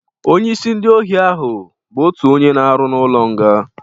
Onye isi ndị ohi ahụ bụ otu onye na-arụ ọrụ n'ụlọ nga